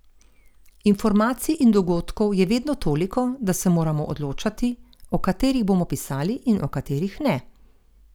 Informacij in dogodkov je vedno toliko, da se moramo odločati, o katerih bomo pisali in o katerih ne.